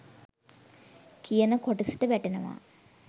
කියන කොටසට වැටෙනවා.